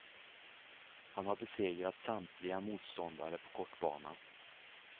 Han har besegrat samtliga motståndare på kortbana.